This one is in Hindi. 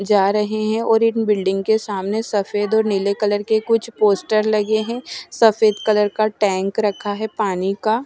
जा रहे हैं और इन बिल्डिंग के सामने सफेद और नीले कलर के कुछ पोस्टर लगे हैं सफेद कलर का टैंक रखा है पानी का।